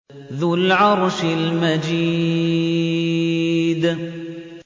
ذُو الْعَرْشِ الْمَجِيدُ